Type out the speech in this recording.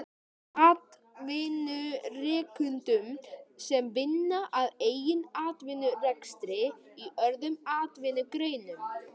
Atvinnurekendum sem vinna að eigin atvinnurekstri í öðrum atvinnugreinum.